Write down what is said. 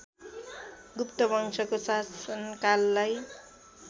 गुप्त वंशको शासनकाललाई